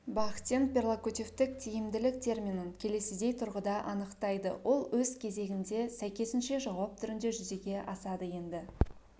бахтин перлокутивтік тиімділік терминін келесідей тұрғыда анықтайды ол өз кезегінде сәйкесінше жауап түрінде жүзеге асады енді